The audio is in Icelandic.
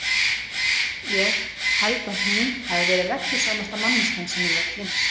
Ég held að hún hafi verið reglusamasta manneskjan sem ég hefi kynnst.